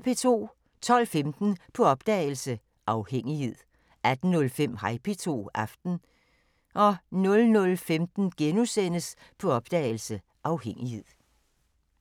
12:15: På opdagelse – Afhængighed 18:05: Hej P2 – Aften 00:15: På opdagelse – Afhængighed *